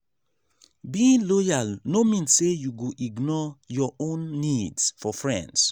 being loyal no mean say you go ignore your own needs for friends.